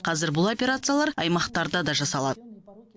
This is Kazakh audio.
қазір бұл операциялар аймақтарда да жасалады